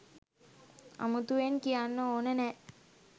අමුතුවෙන් කියන්න ඕන නෑ